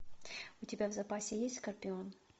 у тебя в запасе есть скорпион